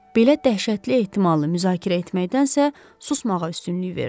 Belə dəhşətli ehtimalı müzakirə etməkdənsə, susmağa üstünlük verdi.